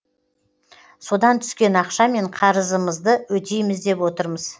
содан түскен ақшамен қарызымызды өтейміз деп отырмыз